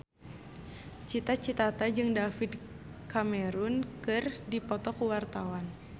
Cita Citata jeung David Cameron keur dipoto ku wartawan